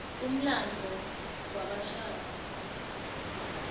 umlandvo wabashaka